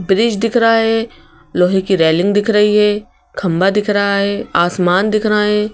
Bridge दिख रहा है लोहे की रेलिंग दिख रही है खंभा दिख रहा है आसमान दिख रहा है।